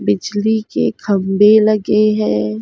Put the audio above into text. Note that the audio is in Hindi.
बिजली के खंबे लगे हैं।